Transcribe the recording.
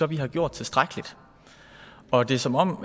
vi har gjort tilstrækkeligt og det er som om